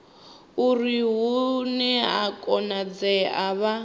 uri hune zwa konadzea vha